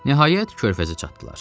Nəhayət, körfəzə çatdılar.